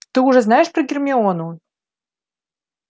ты уже знаешь про гермиону